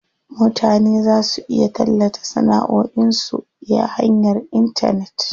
Mutane za su iya tallata sanaʼoin su ya hanyar intanet.